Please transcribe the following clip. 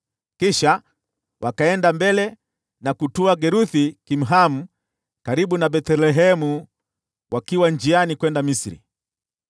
Kisha wakaenda mbele na kutua Geruth-Kimhamu karibu na Bethlehemu wakiwa njiani kwenda Misri